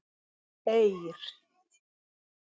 Eir